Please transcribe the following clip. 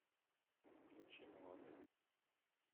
включи молодым